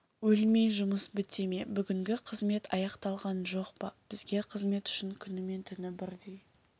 өлмей жұмыс біте ме бүгінгі қызмет аяқталған жоқ па бізге қызмет үшін күні мен түні бірдей